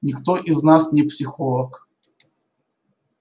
никто из нас не психолог